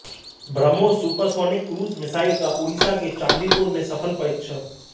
BrahMos supersonic cruise missile का ओडिशा के चांदीपुर से सफल परीक्षण